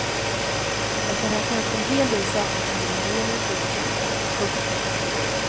Jag kan räkna upp en hel del saker som gjorde mig och min fru beklämda. punkt